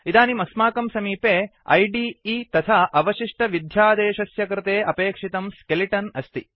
इदानीम् अस्माकं समीपे इदे ऐडिइ तथा अवशिष्टविध्यादेशस्य कृते अपेक्षितं स्केलिटन् अस्ति